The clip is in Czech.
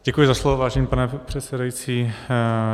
Děkuji za slovo, vážený pane předsedající.